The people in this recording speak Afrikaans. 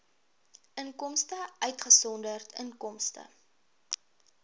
inkomste uitgesonderd inkomste